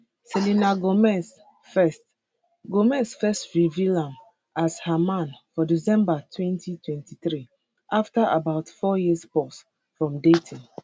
selena gomez first gomez first reveal am as her man for december 2023 afta about four year pause from dating